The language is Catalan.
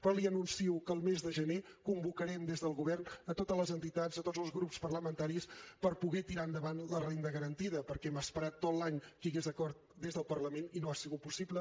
però li anuncio que el mes de gener convocarem des del govern totes les entitats tots els grups parlamentaris per poder tirar endavant la renda garantida perquè hem esperat tot l’any que hi hagués acord des del parlament i no ha sigut possible